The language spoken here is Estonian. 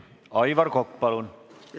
Aivar Kokk, palun!